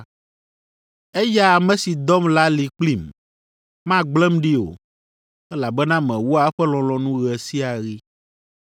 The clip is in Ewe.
Eya ame si dɔm la li kplim; magblẽm ɖi o, elabena mewɔa eƒe lɔlɔ̃nu ɣe sia ɣi.”